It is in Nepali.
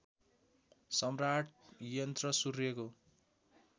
सम्राट यन्त्र सूर्यको